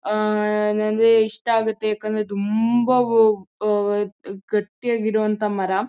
ಆಆ ಅಂದ್ರೆ ಇಷ್ಟ ಆಗುತ್ತೆ ಯಾಕಂದ್ರೆ ತುಂಭಾ ವ ಆ ಗಟ್ಟಿಯಾಗಿ ಇರೋಅಂತ ಮರ